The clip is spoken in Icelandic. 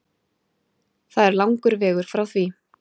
Það er langur vegur frá því